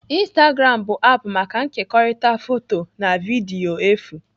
Instagram bụ aapụ maka nkekọrịta foto na vidiyo efu